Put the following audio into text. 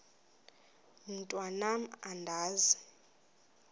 mntwan am andizi